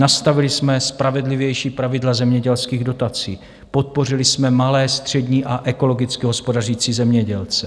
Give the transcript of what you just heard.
Nastavili jsme spravedlivější pravidla zemědělských dotací, podpořili jsme malé, střední a ekologicky hospodařící zemědělce.